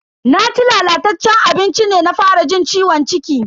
Naci lalataccen abincin ne na fara jin ciwon ciki.